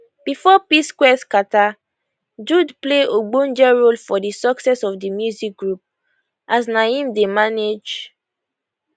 bifor psquare scata jude play ogbonge role for di success of di music group as na im dey manage